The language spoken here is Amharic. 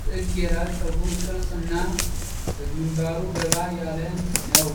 ጥግ የራስ ፀጉር ቅርፅ እና ከግንባሩ ገባ ያለ ነዉ።